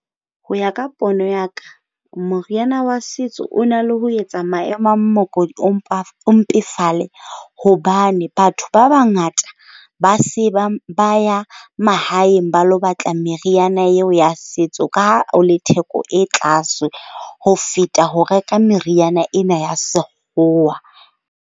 Ho ya ka pono ya ka, moriana wa setso o na le ho etsa maemo a hobane batho ba bangata ba se bang ba ya mahaeng ba ilo batla meriana eo ya setso ka theko e tlase ho feta ho reka meriana ena ya Sekgowa.